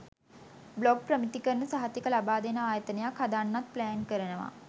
blog ප්‍රමිතිකරණ සහතික ලබාදෙන ආයතනයක් හදන්නත් ප්ලෑන් කරනවා